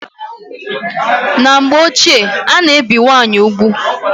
Na mgbe ọchie ana ebi nwaanyị ụgwụ